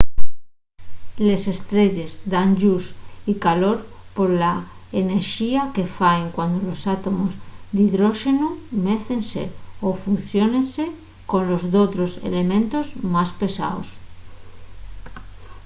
les estrelles dan lluz y calor pola enerxía que faen cuando los átomos d’hidróxenu mécense o fusiónense colos d’otros elementos más pesaos